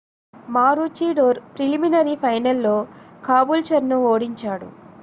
Maroochydore preliminary ఫైనల్లో కాబూల్చర్ను ఓడించాడు